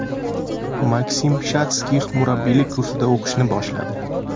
Maksim Shatskix murabbiylik kursida o‘qiy boshladi.